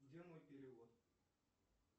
где мой перевод